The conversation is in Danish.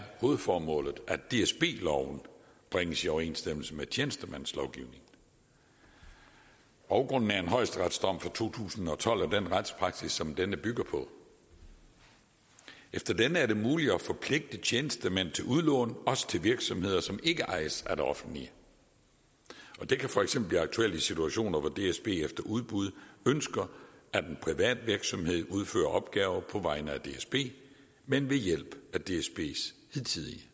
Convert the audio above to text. hovedformålet at dsb loven bringes i overensstemmelse med tjenestemandslovgivningen baggrunden er en højesteretsdom fra to tusind og tolv og den retspraksis som denne bygger på efter denne er det muligt at forpligtige tjenestemænd til udlån også til virksomheder som ikke ejes af det offentlige det kan for eksempel blive aktuelt i situationer hvor dsb efter udbud ønsker at en privat virksomhed udfører opgaver på vegne af dsb men ved hjælp af dsbs hidtidige